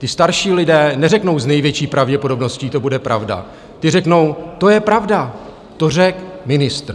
Ti starší lidé neřeknou: S největší pravděpodobností to bude pravda, ti řeknou: To je pravda, to řekl ministr.